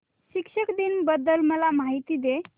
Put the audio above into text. शिक्षक दिन बद्दल मला माहिती दे